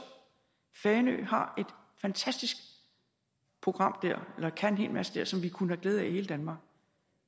fanø har et fantastisk program og kan en hel masse som vi kunne have glæde af i hele danmark